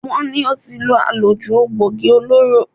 Wọ́n ní ó ti lo àlòjù egboògi olóró.